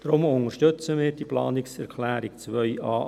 Deshalb unterstützen wir die Planungserklärung 2a.a klar.